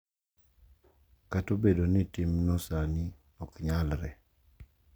Kata obedo ni timno sani ok nyalre,